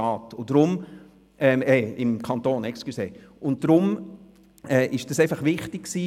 Eine saubere Übergabe des Ausschusses erschien uns daher wichtig.